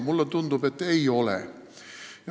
Mulle tundub, et ei ole.